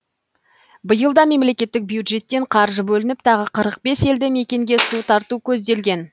биыл да мемлекеттік бюджеттен қаржы бөлініп тағы қырыө бес елді мекенге су тарту көзделген